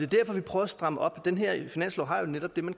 derfor vi prøver at stramme op den her finanslov har jo netop det man